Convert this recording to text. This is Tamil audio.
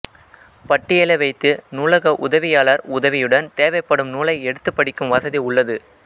பட்டியலை வைத்து நூலக உதவியாளர் உதவியுடன் தேவைப்படும் நூலை எடுத்துப் படிக்கும் வசதி உள்ளது